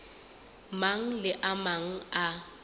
mang le a mang a